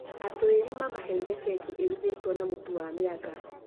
atũũri mamaheire keki irugĩtwo na mũtu wa mĩanga